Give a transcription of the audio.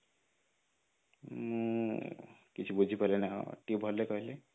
ମୁଁ କିଛି ବୁଝି ପାରିଲିନି ଟିକେ ଭଲରେ କହିଲେ